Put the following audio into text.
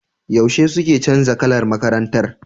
Yaushe suke canza kalar makarantar?